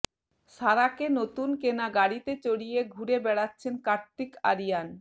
সারাকে নতুন কেনা গাড়িতে চড়িয়ে ঘুরে বেড়াচ্ছেন কার্তিক আরিয়ান